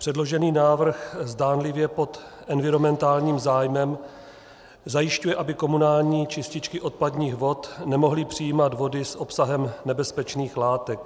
Předložený návrh zdánlivě pod environmentálním zájmem zajišťuje, aby komunální čističky odpadních vod nemohly přijímat vody s obsahem nebezpečných látek.